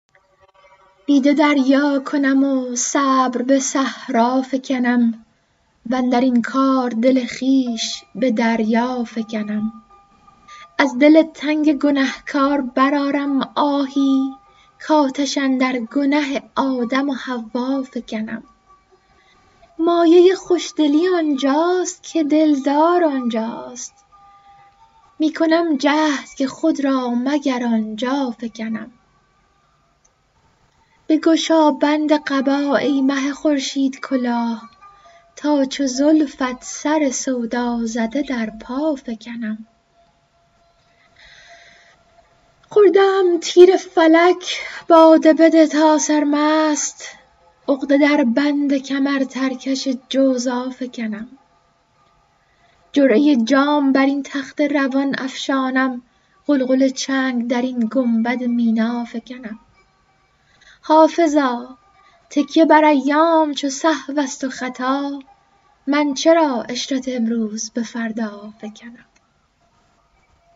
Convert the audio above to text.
دیده دریا کنم و صبر به صحرا فکنم واندر این کار دل خویش به دریا فکنم از دل تنگ گنه کار برآرم آهی کآتش اندر گنه آدم و حوا فکنم مایه خوش دلی آن جاست که دل دار آن جاست می کنم جهد که خود را مگر آن جا فکنم بگشا بند قبا ای مه خورشیدکلاه تا چو زلفت سر سودا زده در پا فکنم خورده ام تیر فلک باده بده تا سرمست عقده در بند کمرترکش جوزا فکنم جرعه جام بر این تخت روان افشانم غلغل چنگ در این گنبد مینا فکنم حافظا تکیه بر ایام چو سهو است و خطا من چرا عشرت امروز به فردا فکنم